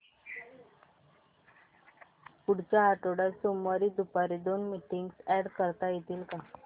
पुढच्या आठवड्यात सोमवारी दुपारी दोन मीटिंग्स अॅड करता येतील का